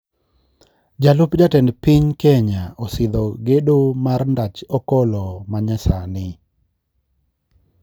Jalup jatend piny kenya osidho gedo mar ndach okolo manyasani